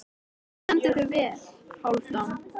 Þú stendur þig vel, Hálfdán!